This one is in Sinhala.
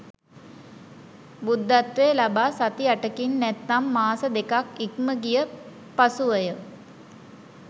බුද්ධත්වය ලබා සති 8කින් නැත්නම් මාස දෙකක් ඉක්මගිය පසුවය.